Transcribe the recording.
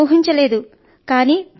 ఈ ఫలితం ఊహించలేదు